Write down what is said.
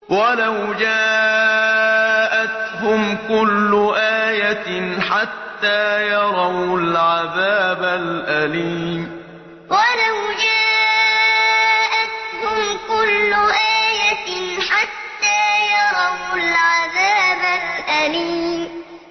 وَلَوْ جَاءَتْهُمْ كُلُّ آيَةٍ حَتَّىٰ يَرَوُا الْعَذَابَ الْأَلِيمَ وَلَوْ جَاءَتْهُمْ كُلُّ آيَةٍ حَتَّىٰ يَرَوُا الْعَذَابَ الْأَلِيمَ